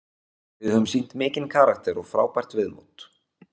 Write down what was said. Við höfum sýnt mikinn karakter og frábært viðmót.